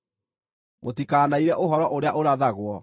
mũtikanaire ũhoro ũrĩa ũrathagwo.